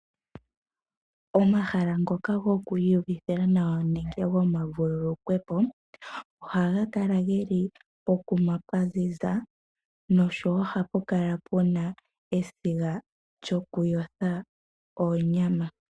Omahala ngoka goku iyuvithila nawa, nenge gomavululukwepo, ohaga kala ge li pokuma pwaziza, nohapu kala puna esiga lyokuyotha oonyama.